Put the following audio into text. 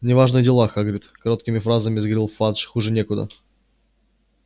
неважные дела хагрид короткими фразами заговорил фадж хуже некуда